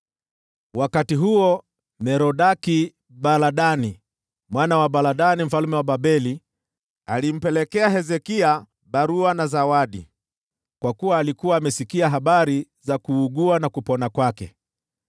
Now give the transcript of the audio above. Wakati huo Merodaki-Baladani, mwana wa Baladani mfalme wa Babeli, akamtumia Hezekia barua na zawadi, kwa sababu alikuwa amesikia habari za kuugua na kupona kwake.